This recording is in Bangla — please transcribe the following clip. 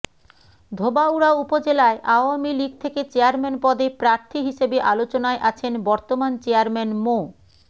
ধোবাউড়া উপজেলায় আওয়ামী লীগ থেকে চেয়ারম্যান পদে প্রার্থী হিসেবে আলোচনায় আছেন বর্তমান চেয়ারম্যান মো